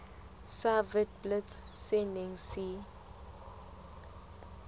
sa witblits se neng se